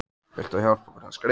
Vilt þú hjálpa okkur að skreyta?